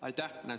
Aitäh!